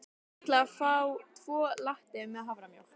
Ég ætla að fá tvo latte með haframjólk.